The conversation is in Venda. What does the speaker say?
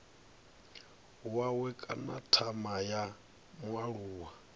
wawe kana thama ya mualuwa